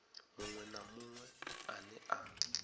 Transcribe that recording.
munwe na munwe ane a